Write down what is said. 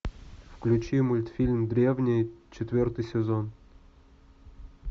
включи мультфильм древние четвертый сезон